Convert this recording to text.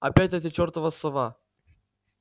опять эта чёртова сова